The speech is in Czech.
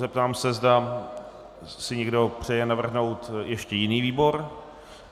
Zeptám se, zda si někdo přeje navrhnout ještě jiný výbor.